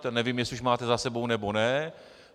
To nevím, jestli už máte za sebou, nebo ne.